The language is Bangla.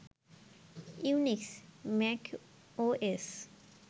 Unix, Mac OS